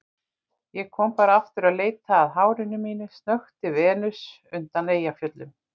Ég kom bara aftur að leita að hárinu mínu, snökti Venus undan Eyjafjöllum.